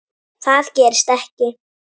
Það gerist ekki,